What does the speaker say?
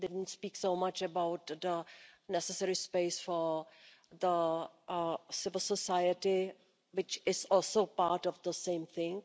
We didn't speak so much about the necessary space for civil society, which is also part of the same thing.